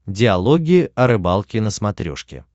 диалоги о рыбалке на смотрешке